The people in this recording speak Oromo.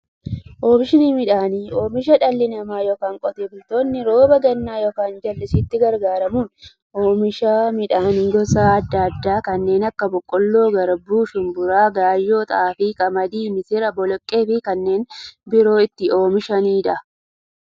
Oomishni midhaanii, oomisha dhalli namaa yookiin Qotee bultoonni roba gannaa yookiin jallisiitti gargaaramuun oomisha midhaan gosa adda addaa kanneen akka; boqqoolloo, garbuu, shumburaa, gaayyoo, xaafii, qamadii, misira, boloqqeefi kanneen biroo itti oomishamiidha.